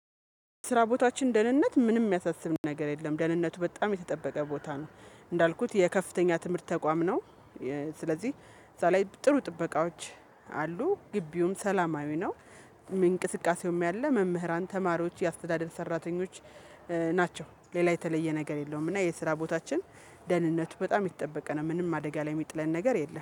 ስራ ቦታችን ደህንነት ምንም የሚያሳስብ ነገር የለም ደህንነቱ በጣም የተጠበቀ ቦታ ነው። እንዳልኩት የከፍተኛ ትምህርት ተቋም ነው። ስለዚህ እዛ ላይ ጥሩ ጥበቃዎች አሉ። ግቢውም ሰላማዊ ነው። እንቅስቃሴውም ያለ መምህራን ተማሪዎች የአስተዳደር ሰራተኞች ናቸው ሌላ የተለየ ነገር የለውም። እና የስራ ቦታችን ደህንነቱ በጣም ይጠበቅ ነው ምንም አደጋ ላይ የሚጥለን ነገር የለም